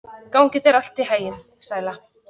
Gangi þér allt í haginn, Sæla.